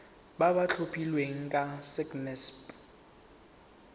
ba ba tlhophilweng ke sacnasp